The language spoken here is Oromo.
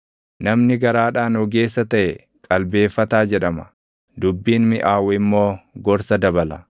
Namni garaadhaan ogeessa taʼe qalbeeffataa jedhama; dubbiin miʼaawu immoo gorsa dabala.